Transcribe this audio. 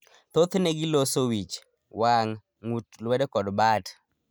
Thoothne giloso wich, waang', ng'ut, luedo kod bat.